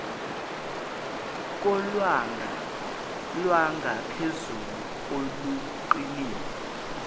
kolwanga lwangaphezulu oluqinile